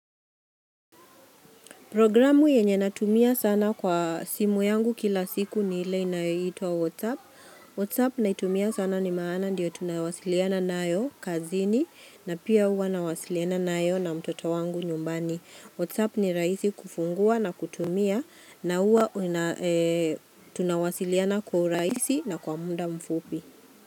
Programu yenye natumia sana kwa simu yangu kila siku ni ile inayoitwa WhatsApp. WhatsApp naitumia sana ni maana ndio tunawasiliana nayo kazini na pia huwa nawasiliana nayo na mtoto wangu nyumbani. WhatsApp ni raisi kufungua na kutumia na uwa tunawasiliana kwa urahisi na kwa muda mfupi.